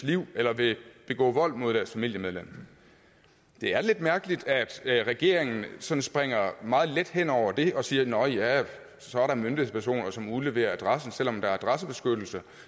livet eller vil begå vold mod deres familiemedlem det er lidt mærkeligt at regeringen sådan springer meget let hen over det og siger nå ja så er der myndighedspersoner som udleverer adressen selv om der er adressebeskyttelse